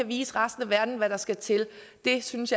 vise resten af verden hvad der skal til jeg synes